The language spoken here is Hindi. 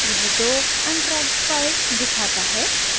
यह दो untracked files दिखाता है